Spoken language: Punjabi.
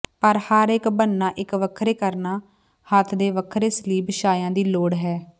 ਪਰ ਹਰ ਇੱਕ ਬਣਨਾ ਇੱਕ ਵੱਖਰੇ ਕਰਣਾ ਹੱਥ ਦੇ ਵੱਖਰੇ ਸਲੀਬ ਛਾਇਆ ਦੀ ਲੋੜ ਹੈ